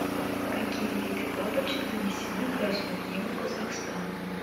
какие виды бабочек занесены в красную книгу казахстана